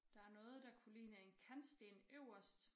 Der er noget der kunne ligne en kantsten øverst